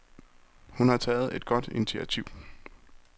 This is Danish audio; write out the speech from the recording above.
Hun har taget et godt initiativ.